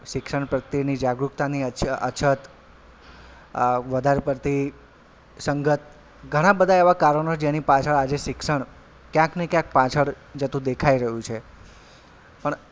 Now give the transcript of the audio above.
શિક્ષણ પ્રત્યેની જાગૃતતાની અછત અ વધારે પડતી સંગત ઘણાં બધાં એવાં કારણો જેની પાછળ આજે શિક્ષણ ક્યાંક ને ક્યાંક પાછળ જતું દેખાઈ રહ્યું છે પણ,